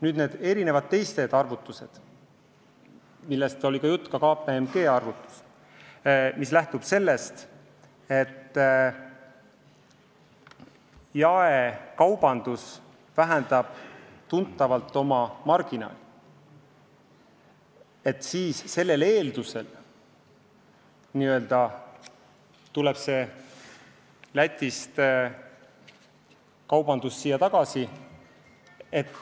Nüüd, need teised arvutused, millest oli jutt, ka see KPMG arvutus, mis lähtub sellest, et jaekaubandus vähendab tuntavalt oma kasumimarginaali ja sel juhul n-ö tuleb kaubandus Lätist Eestisse tagasi.